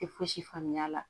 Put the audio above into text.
Tɛ fosi faamuya a la